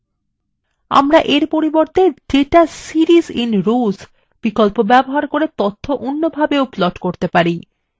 আমরা we পরিবর্তে data series in rows ব্যবহার করে তথ্য অন্যভাবে plot করতে পারি